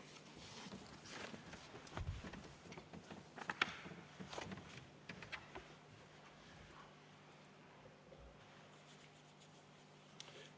Aitäh!